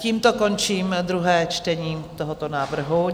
Tímto končím druhé čtení tohoto návrhu.